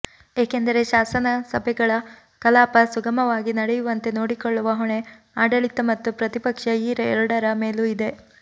ಏಕೆಂದರೆ ಶಾಸನಸಭೆಗಳ ಕಲಾಪ ಸುಗಮವಾಗಿ ನಡೆಯುವಂತೆ ನೋಡಿಕೊಳ್ಳುವ ಹೊಣೆ ಆಡಳಿತ ಮತ್ತು ಪ್ರತಿಪಕ್ಷ ಈ ಎರಡರ ಮೇಲೂ ಇದೆ